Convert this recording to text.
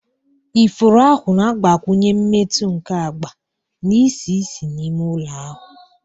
Ifuru ahụ na-agbakwụnye mmetụ nke agba na isi ísì n'ime ụlọ ahụ.